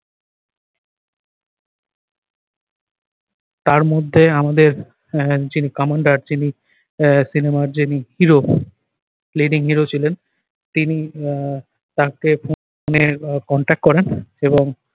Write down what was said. তার মধ্যে আমাদের আহ যিনি commander যিনি আহ সিনেমার যিনি hero, leading hero ছিলেন তিনি আহ contact করেন এবং